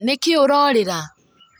Nĩkĩĩ ũrorĩra